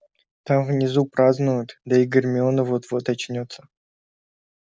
там внизу празднуют да и гермиона вот-вот очнётся